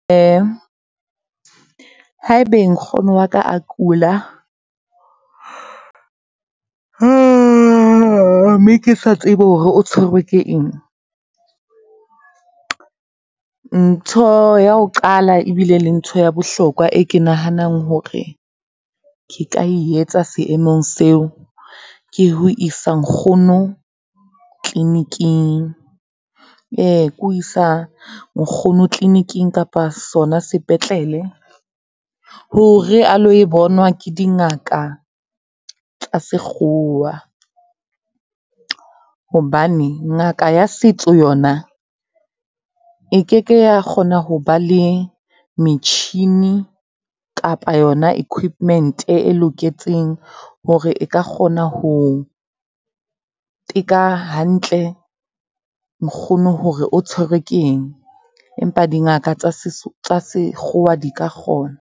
Ha e be nkgono wa ka a kula, mme ke sa tsebe hore o tshwerwe ke eng. Ntho ya ho qala ebile le ntho ya bohlokwa e ke nahanang hore ke ka e etsa seemong seo, ke ho isa nkgono tleliniking, ke ho isa nkgono tleliniking kapa sona sepetlele hore a lo e bonwa ke dingaka tsa sekgowa. Hobane ngaka ya setso yona e ke ke ya kgona ho ba le metjhini kapa yona equipment e loketseng hore e ka kgona ho, teka hantle nkgono hore o tshwerwe ke eng, empa dingaka tsa tsa sekgowa di ka kgona.